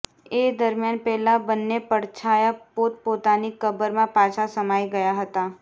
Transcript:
એ દરમિયાન પેલા બંને પડછાયા પોતપોતાની કબરમાં પાછા સમાઈ ગયા હતા